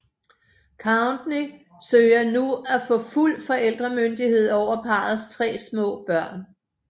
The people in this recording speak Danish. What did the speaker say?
Kourtney søger nu at få fuld forældremyndighed over parrets tre små børn